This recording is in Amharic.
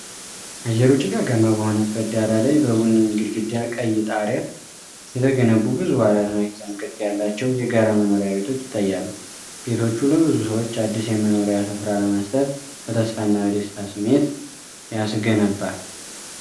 አየሩ ጭጋጋማ በሆነበት ዳራ ላይ፣ በቡኒ ግድግዳና ቀይ ጣሪያ የተገነቡ ብዙ አራት ማዕዘን ቅርፅ ያላቸው የጋራ መኖሪያ ቤቶች ይታያሉ። ቤቶቹ ለብዙ ሰዎች አዲስ የመኖሪያ ስፍራ ለመስጠት በተስፋና በደስታ ስሜት ያስገነባል።